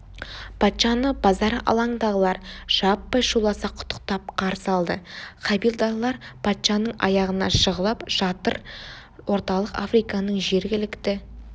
патшаны базар алаңындағылар жаппай шуласа құттықтап қарсы алды хавильдарлар патшаның аяғына жығылып жатыр орталық африканың жергілікті